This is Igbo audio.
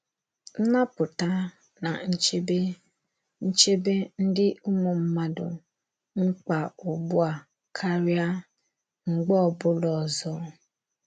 Nnapụta na nchebe nchebe dị ụmụ mmadụ mkpa ugbu a karịa, mgbe ọ bụla ọzọ.